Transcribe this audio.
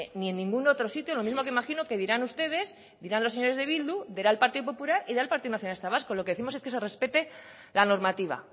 ni en ningún otro sitio lo mismo que imagino que dirán ustedes dirán los señores de bildu dirá en partido popular y dirá el partido nacionalista vasco lo que décimos es que se respete la normativa